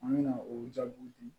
An bɛna o jaabiw di